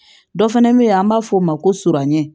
Dɔ fana bɛ yen an b'a fɔ o ma ko surangɛn